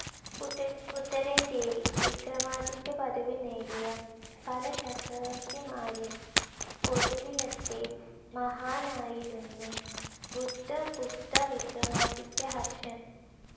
ഉത്തരേന്ത്യയിൽ വിക്രമാദിത്യപദവി നേടിയ പല ചക്രവർത്തിമാരിൽ ഒടുവിലത്തെ മഹാനായിരുന്നു ബുദ്ധഗുപ്തവിക്രമാദിത്യഹർഷൻ.